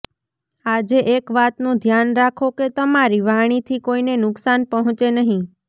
આજે એક વાતનું ધ્યાન રાખો કે તમારી વાણીથી કોઈને નુકસાન પહોંચે નહીં